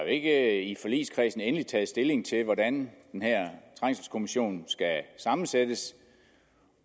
ikke i forligskredsen endeligt er taget stilling til hvordan den her trængselskommission skal sammensættes